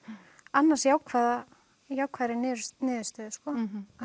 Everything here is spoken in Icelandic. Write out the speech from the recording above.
annars jákvæðri jákvæðri niðurstöðu niðurstöðu sko